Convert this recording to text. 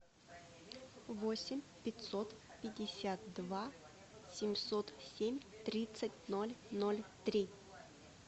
восемь пятьсот пятьдесят два семьсот семь тридцать ноль ноль три